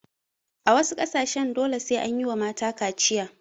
A wasu ƙasashen dole sai anyiwa mata kaciya